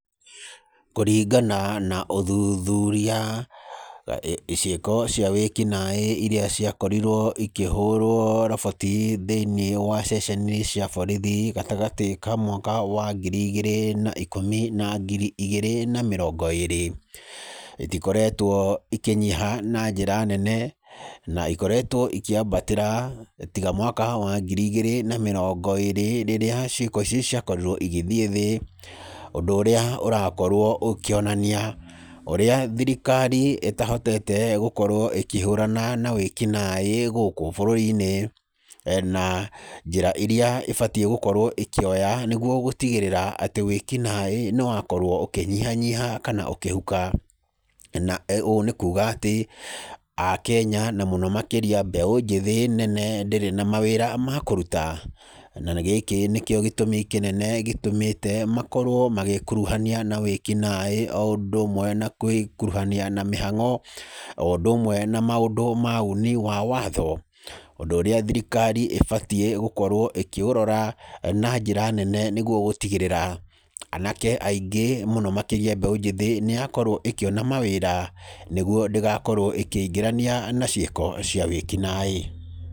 Kũringana na ũthuthuria, ciĩko cia wĩkinaĩ irĩa ciakorirwo ikĩhũrwo roboti thĩiniĩ wa ceceni cia borithi gatagatĩ ka mwaka wa ngiri igĩrĩ na ikũmi na ngiri igĩrĩ na mĩrongo ĩĩrĩ, itikoretwo ikĩnyiha na njĩra nene, na ikoretwo ikĩambatĩra, tiga mwaka wa ngiri igĩrĩ na mĩrongo ĩĩrĩ rĩrĩa ciĩko icio ciakorirwo igĩthiĩ thĩ ũndũ ũrĩa ũrakorwo ũkĩonania, ũrĩa thirikari ĩtahotete gũkorwo ĩkĩhũrana na wĩkinaĩ gũkũ bũrũri-inĩ. Na njĩra irĩa ĩbatiĩ gũkorwo ĩkĩoya nĩguo gũtigĩrĩra atĩ wĩkinaĩ nĩ wakorwo ũkĩnyihanyiha kana ũkĩhuka. Na ũũ nĩ kuuga atĩ, Akenya na mũno makĩria mbeũ njĩthĩ nene ndĩrĩ na mawĩra ma kũruta. Na gĩkĩ nĩkĩo gĩtũmi kĩnene gĩtũmĩte makorwo magĩĩkuruhania na wĩkinaĩ o ũndũ ũmwe na gwĩkuruhania na mĩhang'o, o ũndũ ũmwe na maũndũ ma uni wa watho, ũndũ ũrĩa thirikari ĩbatiĩ gũkorwo ĩkĩũrora, na njĩra nene, nĩguo gũtigĩrĩra, anake aingĩ mũno makĩria mbeũ njĩthĩ, nĩ yakorwo ĩkĩona mawĩra, nĩguo ndĩgakorwo ĩkĩingĩrania na ciĩko cia wĩkinaĩ.